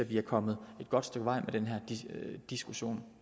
vi er kommet et godt stykke vej med den her diskussion